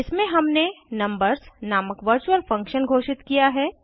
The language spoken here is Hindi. इसमें हमने नंबर्स नामक वर्चुअल फंक्शन घोषित किया है